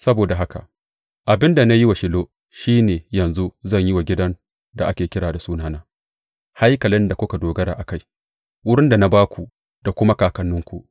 Saboda haka, abin da na yi wa Shilo shi ne yanzu zan yi wa gidan da ake kira da Sunana, haikalin da kuka dogara a kai, wurin da na ba ku da kuma kakanninku.